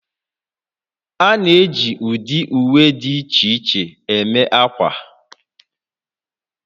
A na-eji ụdị uwe dị iche iche eme ákwà